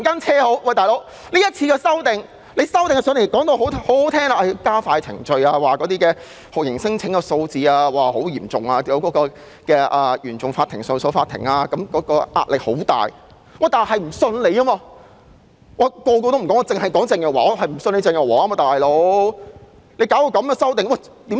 是次修訂的理由亦非常動聽，說要加快程序，因酷刑聲請數字極高，原訟法庭和上訴法庭面對極大壓力，但我們就是不相信她，我不管其他人怎樣，就是不相信鄭若驊。